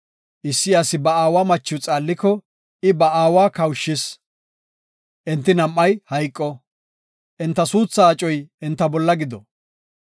Issi asi ba aawa machiw xaalliko, I ba aawa kawushis; enti nam7ay hayqo. Enta suuthaa acoy enta bolla gido.